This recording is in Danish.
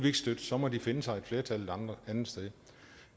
ikke støtte så må de finde sig et flertal et andet sted